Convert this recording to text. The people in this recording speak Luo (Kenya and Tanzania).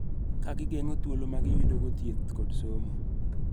Ka gigeng�o thuolo ma giyudogo thieth kod somo.